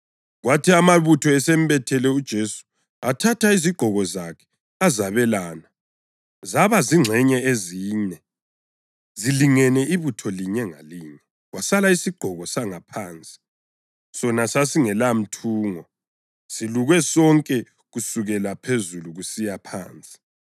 Kwathi amabutho esembethele uJesu, athatha izigqoko zakhe azabelana, zaba zingxenye ezine, zilingene ibutho linye ngalinye, kwasala isigqoko sangaphansi. Sona sasingelamthungo, silukwe sonke kusukela phezulu kusiya phansi.